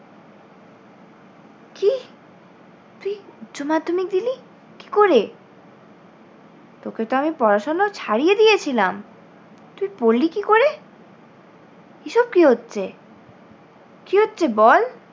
তুই উচ্চ মাধ্যমিক দিলি! কী করে? তোকে তো আমি পড়াশোনো ছাড়িয়ে দিয়েছিলাম, তুই পড়লি কী করে? এসব কী হচ্ছে? কী হচ্ছে বল?